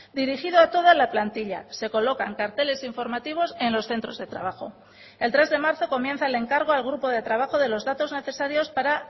dirigido a toda la plantilla se colocan carteles informativos en los centros de trabajo el tres de marzo comienza el encargo al grupo de trabajo de los datos necesarios para